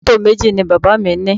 Mọ́tò méjì ni bàbá mi ní?